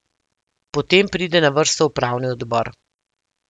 Potem pride na vrsto upravni odbor.